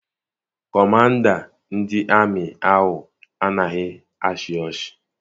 Kọmanda ndị amị ahụ anaghị achị ọchị.